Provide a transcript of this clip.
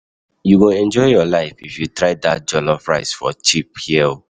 You go enjoy your life if you try dat jollof rice for cheap here.